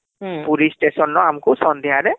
Puri station ନା ଆମକୁ ସନ୍ଧ୍ୟାରେ